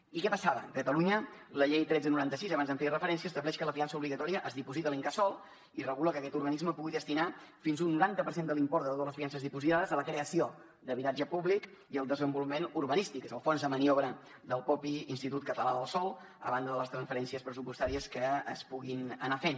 i què passava a catalunya la llei tretze noranta sis abans hi feia referència estableix que la fiança obligatòria es diposita a l’incasòl i regula que aquest organisme pugui destinar fins a un noranta per cent de l’import de totes les fiances dipositades a la creació d’habitatge públic i el desenvolupament urbanístic és el fons de maniobra del mateix institut català del sòl a banda de les transferències pressupostàries que es puguin anar fent